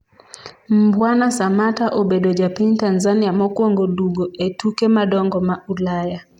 Mbwana samatta obedo ja piny Tanzania mokwongo dugo e tuke madongo ma Ulaya